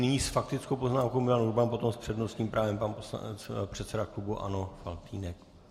Nyní s faktickou poznámkou Milan Urban, potom s přednostním právem pan předseda klubu ANO Faltýnek.